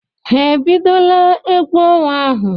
Ha ebidola egwu ọnwa ahụ?